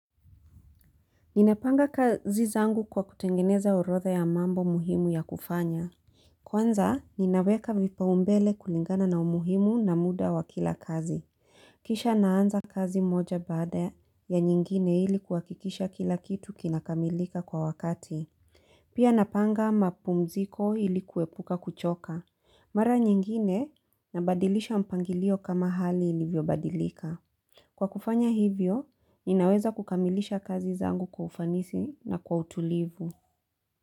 Ninapanga kazi zangu kwa kutengeneza urodha ya mambo muhimu ya kufanya. Kwanza, ninaweka vipaumbele kulingana na umuhimu na muda wa kila kazi. Kisha naanza kazi moja bada ya nyingine ili kuwakikisha kila kitu kinakamilika kwa wakati. Pia napanga mapumziko ili kuepuka kuchoka. Mara nyingine nabadilisha mpangilio kama hali ilivyo badilika. Kwa kufanya hivyo, inaweza kukamilisha kazi zangu kwa ufanisi na kwa utulivu.